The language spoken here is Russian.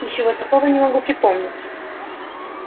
ничего такого не могу припомнить